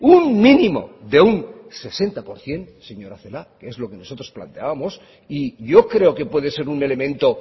un mínimo de un sesenta por ciento señora celaá que es lo que nosotros planteábamos y yo creo que puede ser un elemento